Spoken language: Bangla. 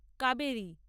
কাবেরী